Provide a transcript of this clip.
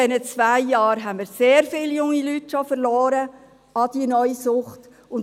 In den zwei Jahren haben wir schon sehr viele junge Leute an die neue Sucht verloren.